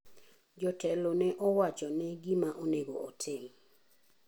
Jotelo ne owacho ne gima onego otim.